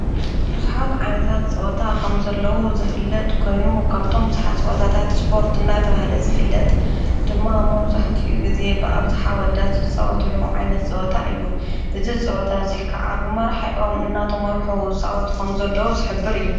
ብዙኃት ዓይነታት ጸወታ ኸም ዘለዉ ዝፍለጥ ኮይኑ ካብቶም ብዙኃት ጸወታታት ስጶርት እና ተብሃለ ዝፍለጥ ድማ ሞዙሕቲኡ ጊዜ ብኣብዝኃ ወዳትጸወትሎ ዓይነት ጸወታ እዩ። እዝ ፅወታ እዙይ ከዓ ብመራ ዕዋም እና ተምርኁ ፃወት ከም ዘለዉ ዝኅብር እዩ።